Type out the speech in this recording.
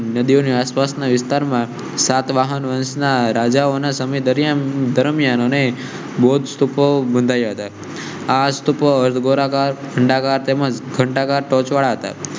નદી ની આસપાસ ના વિસ્તાર સાત વાહન વંશના રાજાઓ ના સમય દરમિયાન બૌદ્ધ સ્તૂપો બાંધાવ્યા હતા આજ તક ગોરા ઘાટ વાળા.